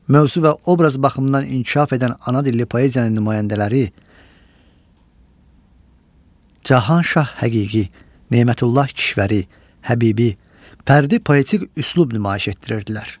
Mövzu və obraz baxımından inkişaf edən ana dilli poeziyanın nümayəndələri Cahanşah Həqiqi, Nemətullah Kişvəri, Həbibi fərdi poetik üslub nümayiş etdirirdilər.